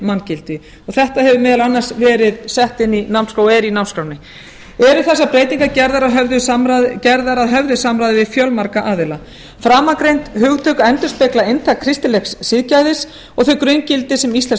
manngildi og þetta hefur meðal annars verið sett inn í námskrána og er í námsskránni eru þessar breytingar gerðar að höfðu samráði við fjölmarga aðila framangreind hugtök endurspegla hugtök kristilegs siðgæðis og þau grunngildi sem íslenskt